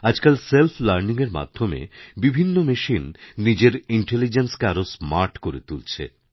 আজকাল সেল্ফলার্নিংএর মাধ্যমে বিভিন্ন মেশিন নিজের ইন্টেলিজেন্সকে আরও স্মার্ট করে তুলছে